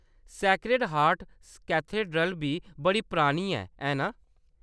Sacred Heart Cathedral बी बड़ी परानी ऐ, है ना?